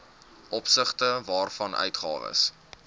opsigte waarvan uitgawes